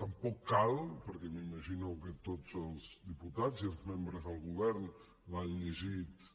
tampoc cal perquè m’imagino que tots els diputats i els membres del govern l’han llegit